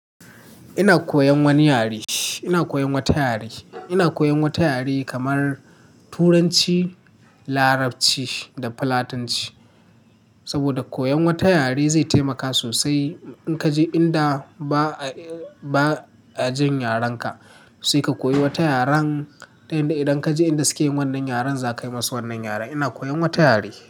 Ina koyan wani yare, ina koyan wata yare. Ina koyan wata yare kamar Turanci, Larabci da Filatanci. Saboda koyan wata yare zai taimaka sosai in kaje inda ba a, ba a jin yarenka. Sai ka koyi wata yaren ta yanda idan kaje inda suke yin wannan yaren za kai masu wannan yaren. Ina koyan wata yare.